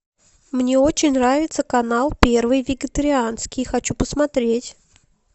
мне очень нравится канал первый вегетарианский хочу посмотреть